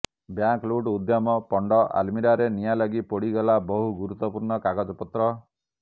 bank ଲୁଟ୍ ଉଦ୍ୟମ ପଣ୍ଡ ଆଲମିରାରେ ନିଆଁ ଲାଗି ପୋଡିଗଲା ବହୁ ଗୁରୁତ୍ବପୂର୍ଣ୍ଣ କାଗଜପତ୍ର